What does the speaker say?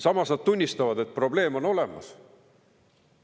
Samas nad tunnistavad, et probleem on olemas.